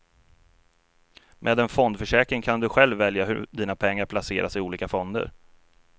Med en fondförsäkring kan du själv välja hur dina pengar placeras i olika fonder.